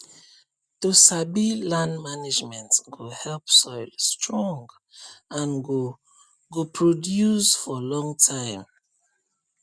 to sabi land management go help soil strong and go go produce for long time